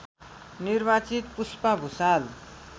निर्वाचित पुष्पा भुसाल